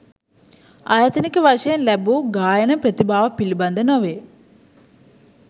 ආයතනික වශයෙන් ලැබූ ගායන ප්‍රතිභාව පිළිබඳ නොවේ.